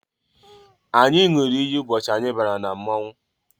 Anyị ṅụrụ iyi ụbọchị anyị bara na mmọnwụ